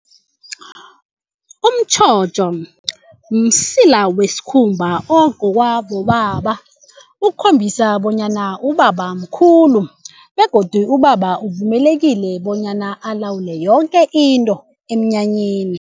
Umtjhotjho msila wesikhumba okugcokwa bobaba ukukhombisa bonyana ubaba mkhulu begodu ubaba uvumelekile bonyana alawule yoke into emnyanyeni.